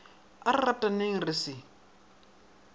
a re rataneng re se